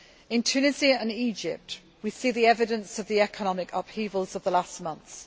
In Tunisia and Egypt we see the evidence of the economic upheavals of the last months.